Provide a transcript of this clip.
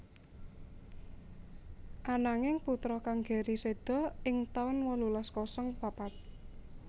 Ananging putra kang Gerry séda ing taun wolulas kosong papat